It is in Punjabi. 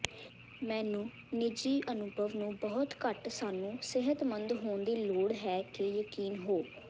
ਮੈਨੂੰ ਨਿੱਜੀ ਅਨੁਭਵ ਨੂੰ ਬਹੁਤ ਘੱਟ ਸਾਨੂੰ ਸਿਹਤਮੰਦ ਹੋਣ ਦੀ ਲੋੜ ਹੈ ਕੇ ਯਕੀਨ ਹੋ